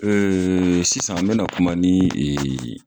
Ee sisan n be na kuma ni ee